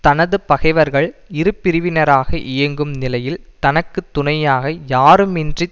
தனது பகைவர்கள் இரு பிரிவினராக இயங்கும் நிலையில் தனக்கு துணையாக யாருமின்றித்